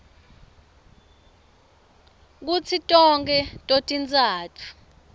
kutsi tonkhe totintsatfu